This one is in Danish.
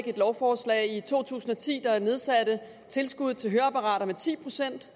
et lovforslag i to tusind og ti der nedsatte tilskuddet til høreapparater med ti procent